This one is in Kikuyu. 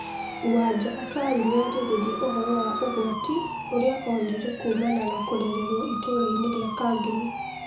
Wanja Asali nĩarĩrĩria ũhoro wa ũgwati ũria onire kumana na kũrerwo ituraini ria kangemi